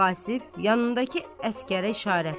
Vasıf, yanındakı əsgərə işarətlə.